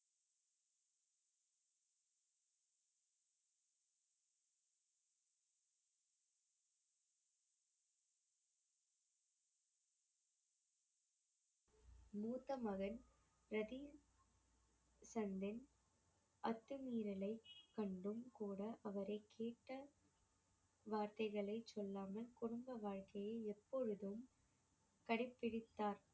மூத்த மகன் அத்துமீறலை கண்டும் கூட அவரை கேட்ட வார்த்தைகளை சொல்லாமல் குடும்ப வாழ்க்கையை எப்பொழுதும் கடைப்பிடித்தார்